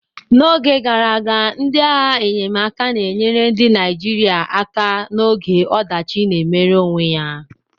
N'oge gara aga, ndị agha enyemaka na-enyere ndị Naijiria aka n'oge ọdachi na-emere onwe ya.